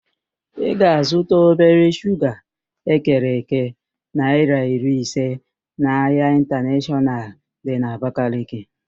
Ị ga-azụta obere shuga ekere èké naịra iri ise n'ahịa ịntaneshọnal dị n'Abakaliki